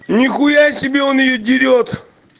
нихуя себе он её дерёт